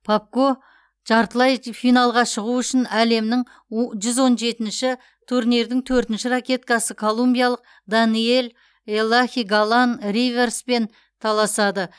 попко жартылай финалға шығу үшін әлемнің жүз он жетінші турнирдің төртінші ракеткасы колумбиялық даниэль элахи галан ривероспен таласады